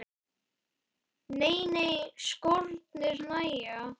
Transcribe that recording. Nei nei, skórnir nægja.